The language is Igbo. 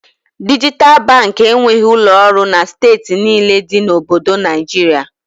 Dijital Baankị enweghị ụlọ ọrụ na steeti niile dị na Obodo Naịjiria